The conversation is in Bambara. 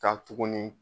Ka tuguni